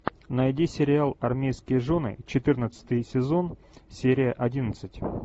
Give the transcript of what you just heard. найди сериал армейские жены четырнадцатый сезон серия одиннадцать